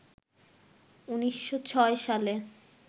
১৯০৬ সালে